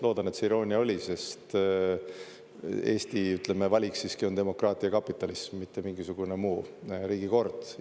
Loodan, et see iroonia oli, sest Eesti valik siiski on demokraatia ja kapitalism, mitte mingisugune muu riigikord.